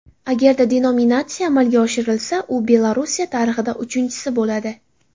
Agarda denominatsiya amalga oshirilsa, u Belorussiya tarixida uchinchisi bo‘ladi.